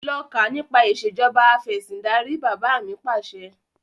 Lọ kà nípa ìsèjọba afẹ̀sindarí! Bàbá mi Pàṣẹ.